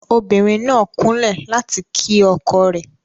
obìnrin nà kunlẹ láti kí ọkọ rẹ.